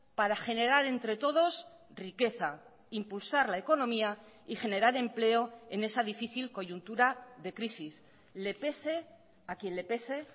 para generar entre todos riqueza impulsar la economía y generar empleo en esa difícil coyuntura de crisis le pese a quien le pese